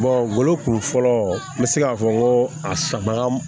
wolokun fɔlɔ n bɛ se k'a fɔ n ko a sabaga